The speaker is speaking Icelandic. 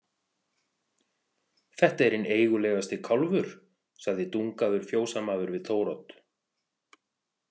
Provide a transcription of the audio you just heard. Þetta er hinn eigulegasti kálfur, sagði Dungaður fjósamaður við Þórodd.